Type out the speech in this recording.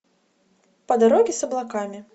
по дороге с облаками